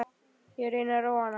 Ég reyni að róa hana.